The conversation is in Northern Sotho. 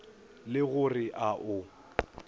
le go re a o